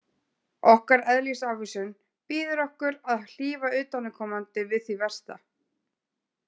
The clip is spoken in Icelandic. Okkar eðlisávísun býður okkur að hlífa utanaðkomandi við því versta.